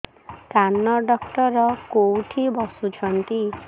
କାନ ଡକ୍ଟର କୋଉଠି ବସୁଛନ୍ତି